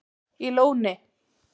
í Lóni